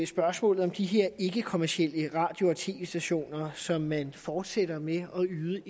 spørgsmålet om de her ikkekommercielle radio og tv stationer som man fortsætter med at yde